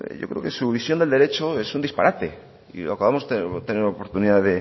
yo creo que su visión del derecho es un disparate y acabamos tener oportunidad